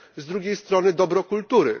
Z drugiej strony dobro kultury.